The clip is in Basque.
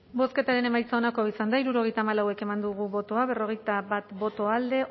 bozketaren emaitza onako izan da hirurogeita hamalau eman dugu bozka berrogeita bat boto alde